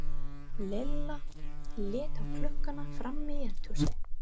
Lilla leit á klukkuna frammi í eldhúsi.